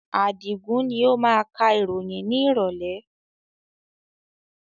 Adigun ni ó máa ka ìròyìn ni ìrọ̀lẹ̀